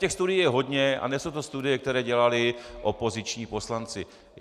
Těch studií je hodně a nejsou to studie, které dělali opoziční poslanci.